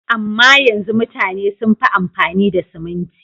Amma yanzu mutane sun fi amfani da siminti.